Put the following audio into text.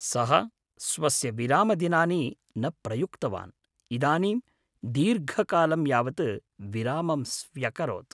सः स्वस्य विरामदिनानि न प्रयुक्तवान्, इदानीं दीर्घकालं यावत् विरामं स्व्यकरोत्।